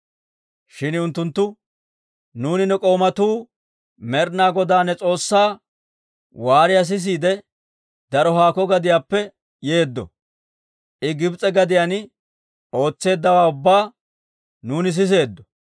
Shin unttunttu, «Nuuni ne k'oomatuu Med'ina Godaa ne S'oossaa waariyaa sisiide, daro haakko gadiyaappe yeeddo. I Gibs'e gadiyaan ootseeddawaa ubbaa nuuni siseeddo.